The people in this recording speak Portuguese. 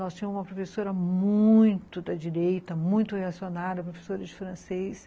Nós tínhamos uma professora muito da direita, muito reacionária, professora de francês.